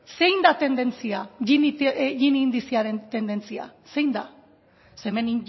zein da tendentzia gini indizearen tendentzia zein da ze hemen